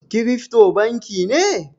Kirifto banki ne?